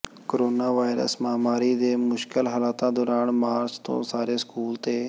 corona virus ਮਹਾਮਾਰੀ ਦੇ ਮੁਸ਼ਕਲ ਹਾਲਾਤਾਂ ਦੌਰਾਨ ਮਾਰਚ ਤੋਂ ਸਾਰੇ ਸਕੂਲ ਤੇ